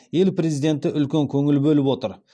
ел президенті үлкен көңіл бөліп отыр